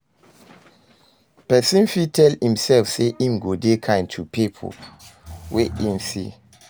Persin fit tell imself say im go dey kind to pipo wey im see